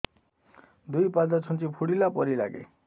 ଦୁଇ ପାଦ ଛୁଞ୍ଚି ଫୁଡିଲା ପରି ଲାଗେ